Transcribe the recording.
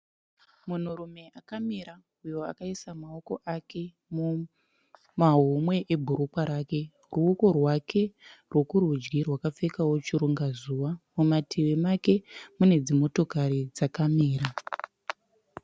Munhurume akamira uyo akaisa maoko ake mumahomwe ebhurukwa rake ruokò rwake rworudyi rwakapfekawo chiringazuva. Mumativi make munedzimotokari dzakamira.